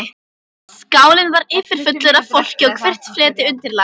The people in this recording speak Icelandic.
Skálinn var yfirfullur af fólki og hvert fleti undirlagt.